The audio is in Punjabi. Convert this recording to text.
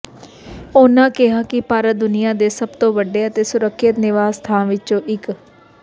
ਉਨ੍ਹਾਂ ਕਿਹਾ ਕਿ ਭਾਰਤ ਦੁਨੀਆ ਦੇ ਸਭ ਤੋਂ ਵੱਡੇ ਤੇ ਸੁਰੱਖਿਅਤ ਨਿਵਾਸ ਥਾਂ ਵਿੱਚੋਂ ਇੱਕ